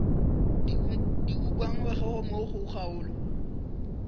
di ukangwego mo go kgaolo